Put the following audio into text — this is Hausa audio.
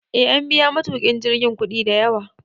E, an biya matukin jirgin kudi da yawa